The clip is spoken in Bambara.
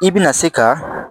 I bɛna se ka